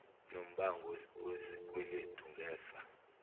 nombango wesikweledu ngefa